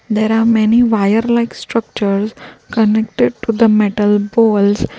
there are many wire like structures connected to the metal bolts.